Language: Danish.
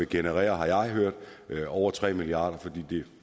generere over tre milliard kr fordi